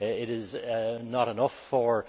It is not enough for